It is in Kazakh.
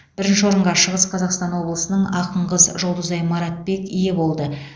бірінші орынға шығыс қазақстан облысының ақын қыз жұлдызай маратбек ие болды